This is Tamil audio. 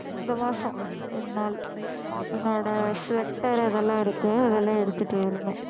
இந்த மாசம் ரெண்டு நாள் என்னோட sweater அதெல்லாம் இருக்கு அதெல்லாம் எடுத்திட்டு வரணும்